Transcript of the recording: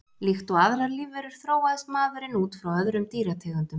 Líkt og aðrar lífverur þróaðist maðurinn út frá öðrum dýrategundum.